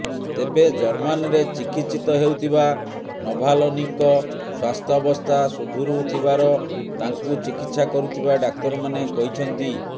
ତେବେ ଜର୍ମାନରେ ଚିକିତ୍ସିତ ହେଉଥିବା ନଭାଲନୀଙ୍କ ସ୍ୱାସ୍ଥ୍ୟାବସ୍ଥା ସୁଧୁରୁଥିବାର ତାଙ୍କୁ ଚିକିତ୍ସା କରୁଥିବା ଡାକ୍ତରମାନେ କହିଛନ୍ତି